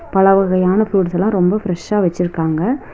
பலவகையான ஃப்ரூட்ஸ்லா ரொம்ப பிரஷ்ஷா வெச்சிருக்காங்க.